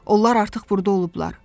Onlar artıq burda olublar.